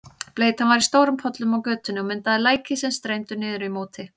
Bleytan var í stórum pollum á götunni og myndaði læki sem streymdu niður í móti.